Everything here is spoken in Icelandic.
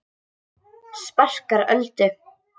Sparkar Öldu.